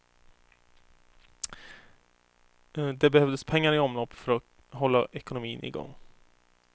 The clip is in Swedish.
Det behövdes pengar i omlopp för att hålla ekonomin igång.